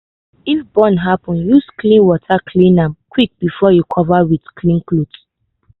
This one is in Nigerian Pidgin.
if burn happen use clean water cool am quick before you cover with clean cloth.